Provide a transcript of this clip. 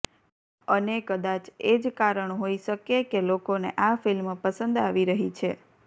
અને કદાચ એજ કારણ હોઈ શકે કે લોકોને આ ફિલ્મ પસંદ આવી રહી છે